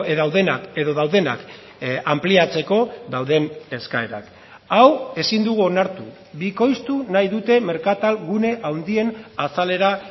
daudenak edo daudenak anpliatzeko dauden eskaerak hau ezin dugu onartu bikoiztu nahi dute merkatal gune handien azalera